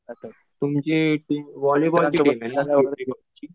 तुमची हॉलीबॉलची टीम आहे ना